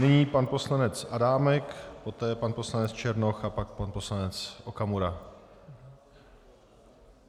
Nyní pan poslanec Adámek, poté pan poslanec Černoch a pak pan poslanec Okamura.